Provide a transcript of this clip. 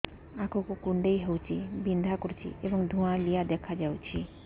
ଆଖି କୁଂଡେଇ ହେଉଛି ବିଂଧା କରୁଛି ଏବଂ ଧୁଁଆଳିଆ ଦେଖାଯାଉଛି